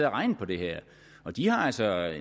og regnet på det her og de har altså